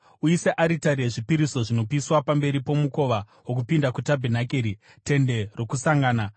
“Uise aritari yezvipiriso zvinopiswa pamberi pomukova wokupinda kutabhenakeri, Tende Rokusangana;